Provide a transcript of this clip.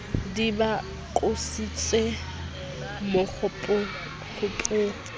di ba qositse bokgothokgotho ba